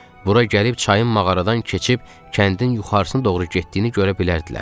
Bura gəlib çayın mağaradan keçib kəndin yuxarısına doğru getdiyini görə bilərdilər.